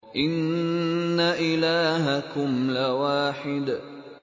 إِنَّ إِلَٰهَكُمْ لَوَاحِدٌ